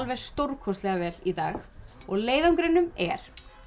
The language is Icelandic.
stórkostlega vel í dag og leiðangrinum er